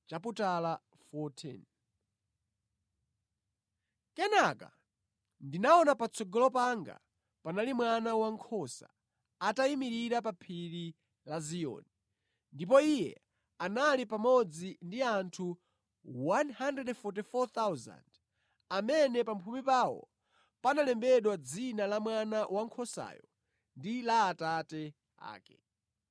Kenaka ndinaona patsogolo panga panali Mwana Wankhosa, atayimirira pa Phiri la Ziyoni, ndipo Iye anali pamodzi ndi anthu 144,000 amene pa mphumi pawo panalembedwa dzina la Mwana Wankhosayo ndi la Atate ake.